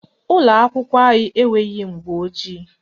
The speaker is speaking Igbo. Ụlọakwụkwọ anyị enweghị mgbọojii